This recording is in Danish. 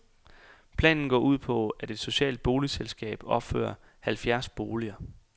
Planen går ud på, at et socialt boligselskab opfører halvfjerds boliger.